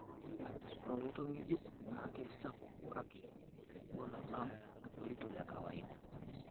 Ore oloito ng'ejuk naa keisapuk kake megol alang' oloito le kawaida.